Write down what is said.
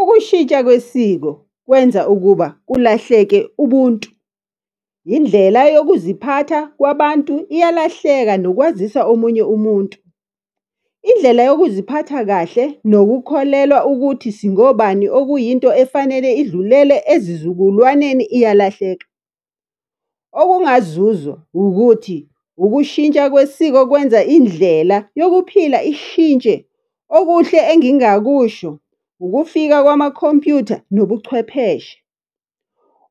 Ukushintsha kwesiko kwenza ukuba kulahleke ubuntu. Indlela yokuziphatha kwabantu iyalahleka nokwazisa omunye umuntu. Indlela yokuziphatha kahle nokukholelwa ukuthi singobani, okuyinto efanele idlulele ezizukulwaneni iyalahleka. Okungazuzwa ukuthi ukushintsha kwesiko kwenza indlela yokuphila ishintshe. Okuhle engingakusho, ukufika kwamakhompuyutha nobuchwepheshe.